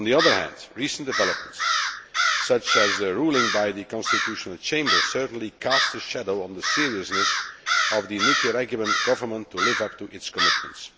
On the other hand, recent developments, such as the ruling by the Constitutional Chamber, certainly cast a shadow on the seriousness of the Nicaraguan Government to live up to its commitments.